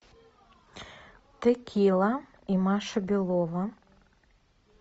текила и маша белова